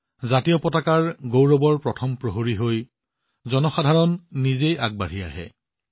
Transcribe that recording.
ত্ৰিৰংগাৰ গৌৰৱৰ প্ৰথম প্ৰহৰী হৈ মানুহবোৰ নিজেই আগবাঢ়ি আহিল